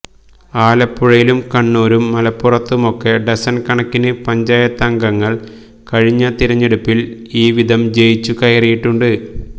ആലപ്പുഴയിലും കണ്ണൂരും മലപ്പുറത്തുമൊക്കെ ഡസണ് കണക്കിന് പഞ്ചായത്തംഗങ്ങള് കഴിഞ്ഞ തിരഞ്ഞെടുപ്പില് ഇവ്വിധം ജയിച്ചു കയറിയിട്ടുണ്ട്